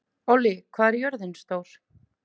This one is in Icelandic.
Ollý, hvað er jörðin stór?